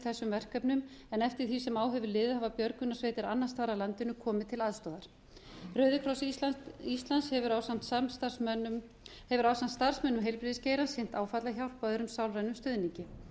þessum verkefnum en eftir því sem á hefur liðið hafa björgunarsveitir annars staðar af landinu komið til aðstoðar rauðikross íslands hefur ásamt starfsmönnum heilbrigðisgeirans sinnt áfallahjálp og öðrum sálrænum stuðningi